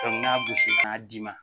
d'i ma